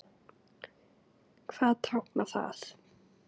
Hvað táknar það?